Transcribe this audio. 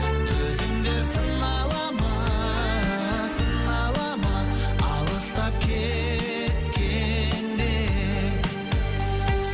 төзімдер сынала ма сынала ма алыстап кеткенде